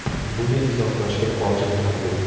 Buni izohlashga hojat ham yo‘q.